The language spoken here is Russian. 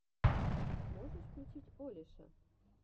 можешь включить олеша